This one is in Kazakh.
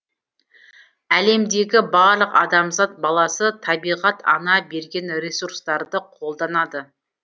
әлемдегі барлық адамзат баласы табиғат ана берген ресурстарды қолданады